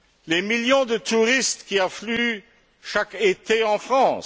Les millions de touristes qui affluent chaque été en France?